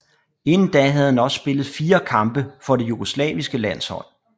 Inden da havde han også spillet fire kampe for det jugoslaviske landshold